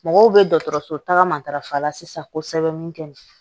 Mɔgɔw bɛ dɔgɔtɔrɔso tagama sisan ko sɛbɛn min kɛ